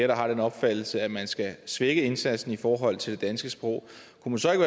der har den opfattelse at man skal svække indsatsen i forhold til det danske sprog